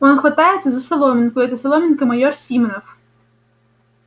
он хватается за соломинку и эта соломинка майор симонов